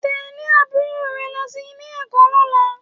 Tẹ̀lé àbúrò rẹ lọ Ilé-ẹ̀kọ́ lọ́la